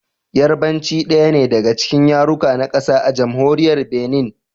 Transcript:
Yarbanci daya ne daga cikin yaruka na kasa a Jamhuriyar Binin.